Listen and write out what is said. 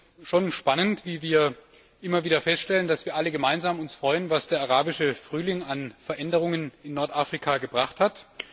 Ich finde es schon spannend, wie wir immer wieder feststellen, dass wir uns alle gemeinsam darüber freuen, was der Arabische Frühling an Veränderungen in Nordafrika gebracht hat.